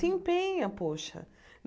Se empenha, poxa.